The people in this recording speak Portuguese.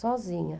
Sozinha.